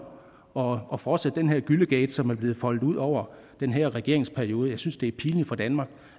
og og fortsætte den her gyllegate som er blevet foldet ud over den her regeringsperiode jeg synes det er pinligt for danmark